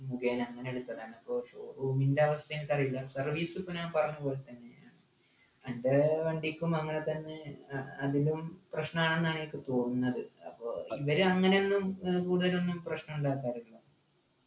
മുഖേന അങ്ങനെ എടുത്തതാണ് അപ്പൊ showroom ൻ്റെ അവസ്ഥ എനിക്കറീല service പ്പോ ഞാൻ പറഞ്ഞപോലെതന്നെ അൻ്റെ വണ്ടിക്കും അങ്ങനെതന്നെ ആഹ് അതിനും പ്രശ്‌നാണ് ന്ന എനിക്ക് തോന്നുന്നത് പ്പോ ഇവരെങ്ങനെ ഒന്നും ഏർ കൂടുതലൊന്നും പ്രശ്നം ഉണ്ടാക്കാറില്ല